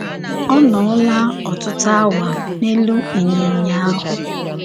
Ọ nọọla ọtụtụ awa n’elu ịnyịnya ahụ.